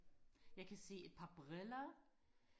jeg kan se et par briller